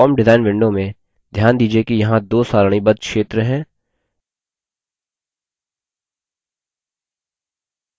form design window में ध्यान दीजिये कि यहाँ दो सारणीबद्ध क्षेत्र हैं